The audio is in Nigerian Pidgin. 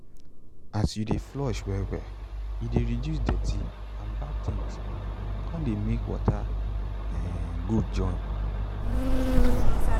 as you de flush well well e de reduce dirty and bad things con de make water um good join